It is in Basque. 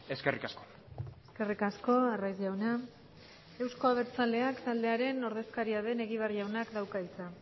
eskerrik asko eskerrik asko arraiz jauna euzko abertzaleak taldearen ordezkaria den egibar jaunak dauka hitza